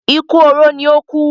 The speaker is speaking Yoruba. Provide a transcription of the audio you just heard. Ikú oró ní ó kú